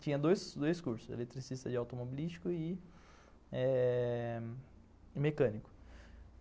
Tinha dois cursos, eletricista de automobilístico e eh...mecânico.